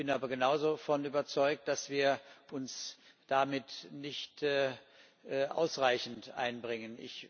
Ich bin aber genauso davon überzeugt, dass wir uns damit nicht ausreichend einbringen.